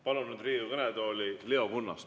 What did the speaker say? Palun nüüd Riigikogu kõnetooli Leo Kunnase.